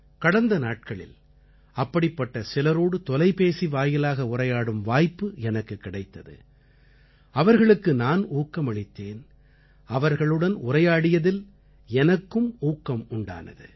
கடந்த நாட்களில் அப்படிப்பட்ட சிலரோடு தொலைபேசி வாயிலாக உரையாடும் வாய்ப்பு எனக்குக் கிடைத்தது அவர்களுக்கு நான் ஊக்கமளித்தேன் அவர்களுடன் உரையாடியதில் எனக்கும் ஊக்கம் உண்டானது